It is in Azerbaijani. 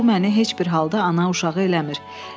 Bu məni heç bir halda ana uşağı eləmir.